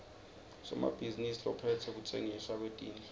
somabhizinisi lophetse kutsengiswa kwetindlu